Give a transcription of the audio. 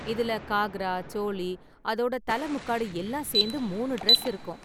இதுல காக்ரா, சோளி, அதோட தலை முக்காடு எல்லாம் சேர்ந்து மூணு டிரஸ் இருக்கும்.